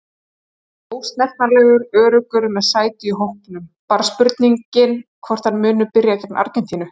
Ósnertanlegur- Öruggur með sæti í hópnum, bara spurningin hvort hann muni byrja gegn Argentínu?